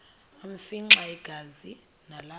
afimxa igazi nalapho